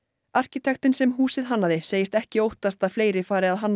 arkitektinn sem húsið hannaði segist ekki óttast að fleiri fari að hanna